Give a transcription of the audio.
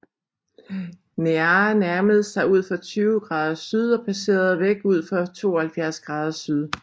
Near nærmede sig udfor 20 grader syd og passerede væk udfor 72 grader syd